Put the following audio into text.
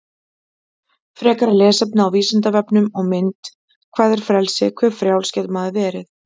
Frekara lesefni á Vísindavefnum og mynd Hvað er frelsi, hve frjáls getur maður verið?